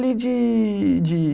De, de